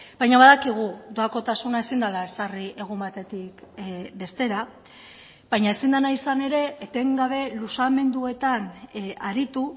baina badakigu doakotasuna ezin dela ezarri egun batetik bestera baina ezin dena izan ere etengabe luzamenduetan aritu